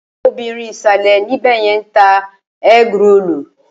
Obìrin ìsàlè ńbẹ̀yẹn ń ta ẹ́grolù.